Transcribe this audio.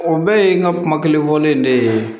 O bɛɛ ye n ka kuma kelen fɔlen de ye